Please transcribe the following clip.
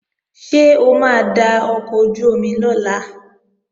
Ṣé o máa da ọkọ̀ ojú-omi lọ̀la?